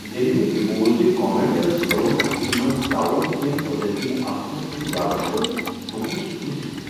ییٚلہ مےٚ یہ بوز ز کامیٹ ٲسۍ قرون وسطی منز طاعون ہوین قدرتی آفتن سۭتۍ وابستہٕ، بہٕ گوس رُوزتھ۔